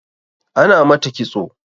Ana mata ƙitso